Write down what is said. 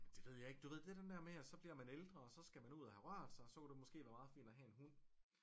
Det ved jeg ikke du ved det den der med at så bliver man ældre og så skal man ud og have rørt sig og så kunne det måske være meget fint at have en hund